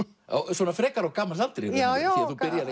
svona frekar á gamals aldri já á